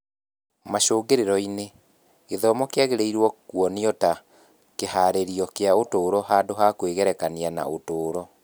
Macũngĩrĩro-inĩ, gĩthomo kĩagĩrĩirũo kuonio ta kĩhaarĩrio kĩa ũtũũro handũ ha kwĩgerekania na ũtũũro.